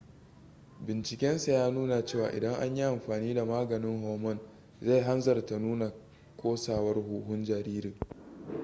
bincikensa ya nuna cewa idan an yi amfani da maganin hormone zai hanzarta nuna kosawar huhun jaririn